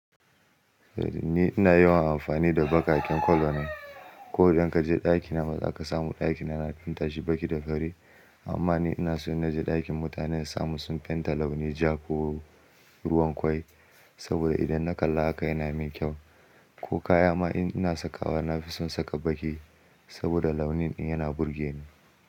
Ni ina yawan amfani da baƙaƙen kolo ne. Ko idan ka je dakina ma zaka samu ɗakina na finta shi baƙi da fari. Amma ni ina so in naje dakin mutane na samu sun fenta launi ja ko ruwan kwai. Saboda idan na kalla haka yana min kyau. Ko kaya ma in ina sakawa na fi son saka baki. Saboda launin ɗin yana burge ni.